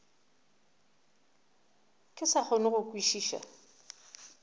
ke sa kgone go kwešiša